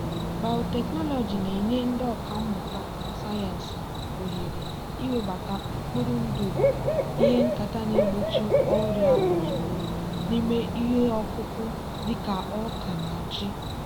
biotechnology na-enye ndị ọkà mmụta sayensị ohere iwebata mkpụrụ ndụ ihe nketa na-egbochi ọrịa ozugbo n'ime ihe ọkụkụ dị ka ọka na ji.